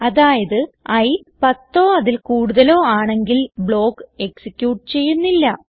അതായത് ഇ പത്തോ അതിൽ കൂടുതലോ ആണെങ്കിൽ ബ്ലോക്ക് എക്സിക്യൂട്ട് ചെയ്യുന്നില്ല